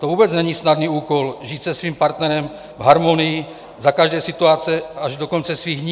To vůbec není snadný úkol žít se svým partnerem v harmonii za každé situace až do konce svých dní.